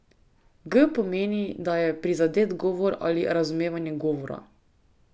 G pomeni, da je prizadet govor ali razumevanje govora.